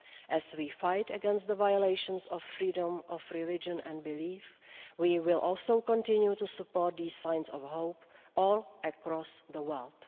As we fight against the violations of freedom of religion and belief, we will also continue to support these signs of hope all across the world.